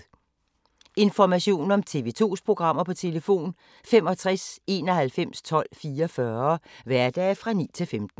Information om TV 2's programmer: 65 91 12 44, hverdage 9-15.